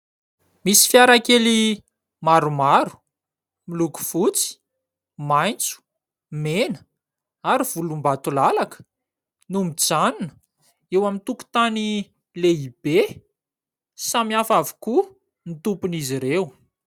Misy fiarakely maromaro miloko fotsy, maitso, mena ary volombatolalaka no mijanona eo amin'ny tokotany lehibe, samihafa avokoa ny tompon'izy ireo.